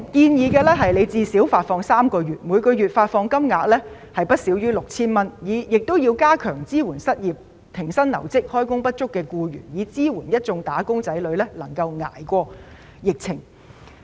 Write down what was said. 我們建議最少發放3個月，每月發放金額不少於 6,000 元，政府亦要加強支援失業、停薪留職或開工不足的僱員，支援一眾"打工仔女"捱過疫情。